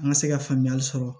An ka se ka faamuyali sɔrɔ